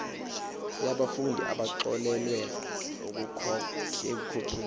yabafundi abaxolelwa ekukhokheni